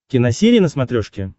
киносерия на смотрешке